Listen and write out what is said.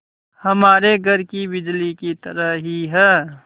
हमारे घर की बिजली की तरह ही है